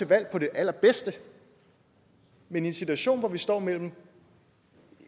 valg på det allerbedste men i en situation hvor vi står med